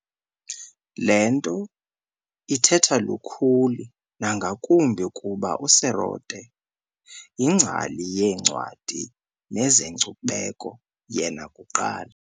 Le nto ithetha lukhulu nangakumbi kuba uSerote yingcali yoncwadi nezenkcubeko yena kuqala.